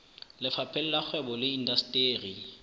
lefapheng la kgwebo le indasteri